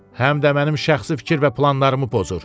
Həm də mənim şəxsi fikir və planlarımı pozur.